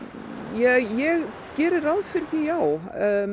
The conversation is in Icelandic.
ég geri ráð fyrir því já